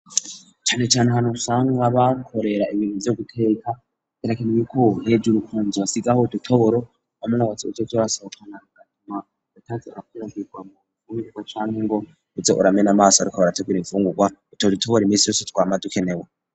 Cane cane ahantu usanga bakorera ibintu vyo guteka terakeniyiku nebye urukunzi basiz aho dutoboro wa man batse ucoco basohokana gatuma ratasia kiranbirwa mu umibuka canungo itse uramene amaso arukaba ratabira imfunguka utodutoboro iminsi yose twama dukenewe.